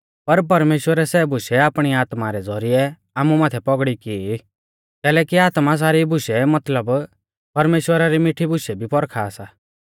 पर परमेश्‍वरै सै बुशै आपणी आत्मा रै ज़ौरिऐ आमु माथै पौगड़ौ की कैलैकि आत्मा सारी बुशै मतलब परमेश्‍वरा री मिठी बुशै भी परखा सा